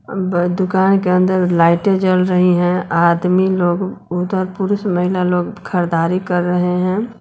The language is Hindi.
दुकान के अंदर लाइटें जल रही हैं आदमी लोग उधर पुरुष महिला लोग खरीदारी कर रहे हैं।